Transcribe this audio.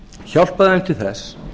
hjálpa þeim til þess